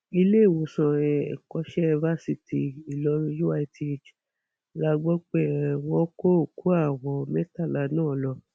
iléèwòsàn um ẹkọṣẹ fásitì ìlọrin uith la gbọ pé um wọn kó òkú àwọn mẹtàlá náà lọ